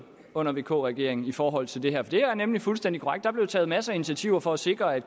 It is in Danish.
under vk regeringen i forhold til det her det er nemlig fuldstændig korrekt at der blev taget masser af initiativer for at sikre at